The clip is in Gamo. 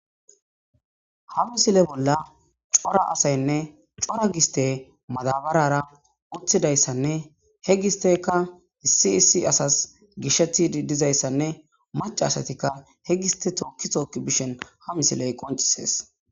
ha misile bolla cora asaynne cora giste madabarara uthidayssanne he gisteka issi issi asas gishethi dizayssanne mac asatikka he giste tookki tookki bishen ha misiley qoncisees